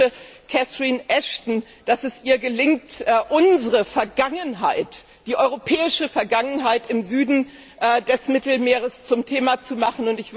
Ich wünsche Catherine Ashton, dass es ihr gelingt, unsere Vergangenheit, die europäische Vergangenheit im Süden des Mittelmeeres zum Thema zu machen.